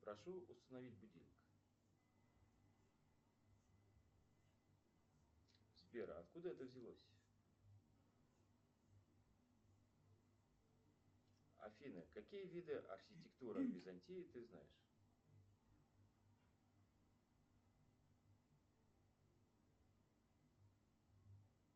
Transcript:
прошу установить будильник сбер откуда это взялось афина какие виды архитектуры византии ты знаешь